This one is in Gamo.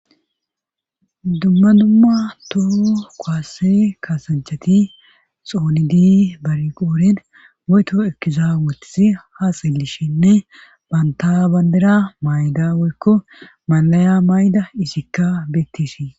Dumma dumma toho koase kaasanchati xoonidi bari qooren oyto ekizaawetis ha sillishinne banta bandera mayda woykko malaya mayda isikka beettishii.